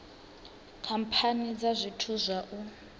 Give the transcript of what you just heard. khamphani dza zwithu zwa u